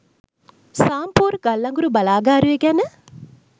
සාම්පූර් ගල්අඟුරු බලාගාරය ගැන